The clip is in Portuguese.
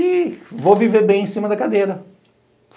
E vou viver bem em cima da cadeira.